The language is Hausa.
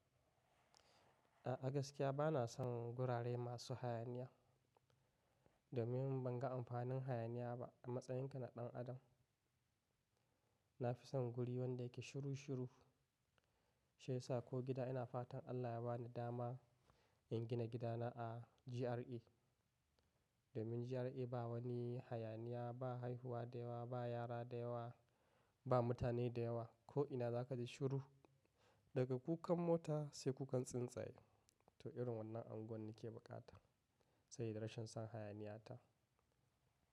A'a gaskiya bana son gurare masu hayaniya. Domin ban ga amfanin hayaniya ba a matsayin ka na ɗan adam. Na fi son guri wanda yake shiru shiru, shi yasa ko gida ina fatan Allah ya ba ni dama in gina gidana a GRA. Domin GRA ba wani hayaniya, ba haihuwa da yawa, ba yara da yawa, ba mutane da yawa. Ko ina za ka ji shiru daga kukan mota sai kukan tsuntsaye. To irin wannan anguwan ne ke bukata, saye da rashin son hayaniya ta.